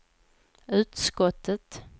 utskottet